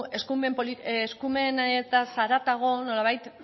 eskumenez haratago nolabait